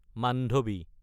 Mandvi